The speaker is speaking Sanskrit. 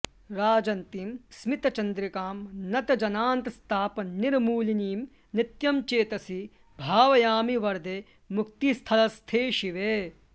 राजन्तीं स्मितचन्द्रिकां नतजनान्तस्तापनिर्मूलिनीं नित्यं चेतसि भावयामि वरदे मुक्तिस्थलस्थे शिवे